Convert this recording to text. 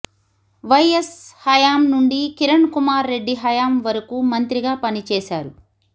YS హయాం నుండి కిరణ్ కుమార్ రెడ్డి హాయం వరకు మంత్రిగా పని చేసారు